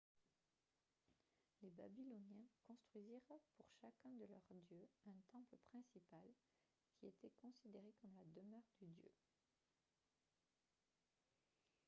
les babyloniens construisirent pour chacun de leurs dieux un temple principal qui était considéré comme la demeure du dieu